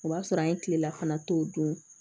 O b'a sɔrɔ an ye kilela fana to o don